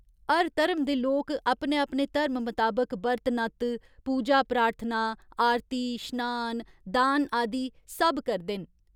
हर धर्म दे लोक अपने अपने धर्म मताबक बर्त नत्त, पूजा प्रार्थना, आरती, श्नान, दान आदि सब करदे न।